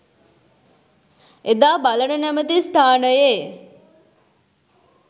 එදා බලන නැමති ස්ථානයේ